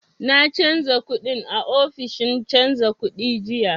Na canja kuɗin a ofishin canja kuɗi jiya